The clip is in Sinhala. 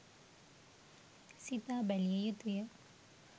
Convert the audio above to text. සිතා බැලිය යුතු ය.